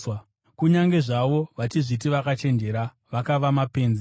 Kunyange zvavo vachizviti vakachenjera, vakava mapenzi